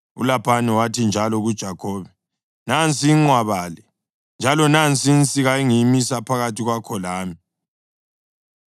ULabhani wathi njalo kuJakhobe, “Nansi inqwaba le, njalo nansi insika engiyimise phakathi kwakho lami.